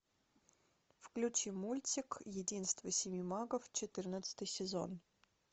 включи мультик единство семи магов четырнадцатый сезон